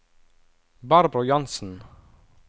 Barbro Jansen